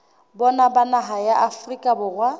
bona ba naha ya afrika